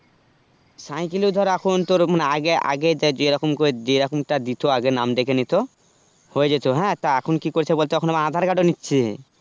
সাইকেলে ধর এখন তোর আগেআগে যাযেরকম করে যেরকমটা দিতো আগে নাম ডেকে নিতো হয়েযেত, তা এখন কি করছে বলতো এখন আবার aadhar card ও নিচ্ছে